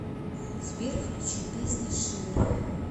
сбер включи песня шивер